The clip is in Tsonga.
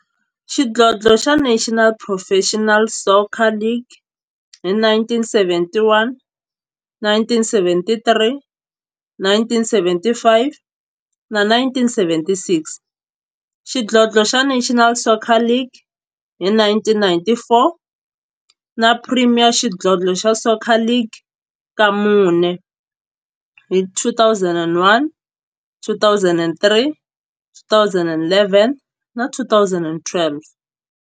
xidlodlo xa National Professional Soccer League hi 1971, 1973, 1975 na 1976, xidlodlo xa National Soccer League hi 1994, na Premier Xidlodlo xa Soccer League ka mune, hi 2001, 2003, 2011 na 2012.